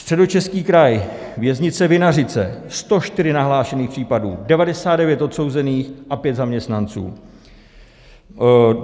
Středočeský kraj, Věznice Vinařice, 104 nahlášených případů, 99 odsouzených a 5 zaměstnanců;